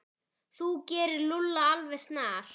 Þú gerir Lúlla alveg snar